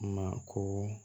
Mako